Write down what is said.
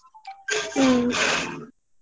. ಹ್ಮ್.